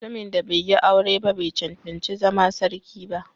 Mutumin da bai yi aure ba bai cancanci zama sarki ba